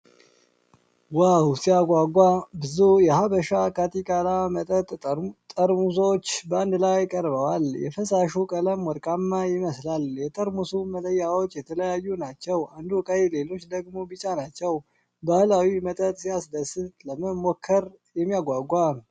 ዋው ሲያጓጓ! ብዙ የሀበሻ ካቲካላ መጠጥ ጠርሙሶች በአንድ ላይ ቀርበዋል። የፈሳሹ ቀለም ወርቃማ ይመስላል። የጠርሙስ መለያዎች የተለያዩ ናቸው። አንዱ ቀይ፣ ሌሎቹ ደግሞ ቢጫ ናቸው። ባህላዊ መጠጥ ሲያስደስት! ለመሞከር የሚያጓጓ!